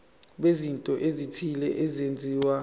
bezinto ezithile ezenziwa